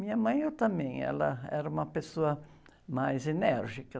Minha mãe, eh, também, ela era uma pessoa mais enérgica.